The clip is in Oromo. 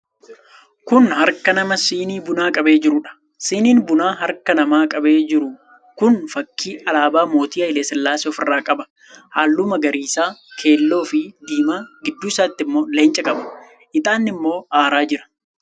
Kun harka namaa sinii bunaa qabee jiruudha. Siniin bunaa harki namaa qabee jiru kun fakkii alaabaa mootii Haayilesillaasee ofirraa qaba. Halluu magariisa, keelloo fi diimaa; gidduu isaatii immoo leenca qaba. Ixaanni immoo aaraa jira.